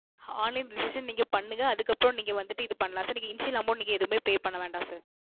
Online Registration நீங்க பண்ணுங்க அதுக்கு அப்பறம் நீங்க வந்துவிட்டு இது பண்ணலாம் Sir நீங்க Initial Amount எதுமே Pay பண்ண வேண்டாம் Sir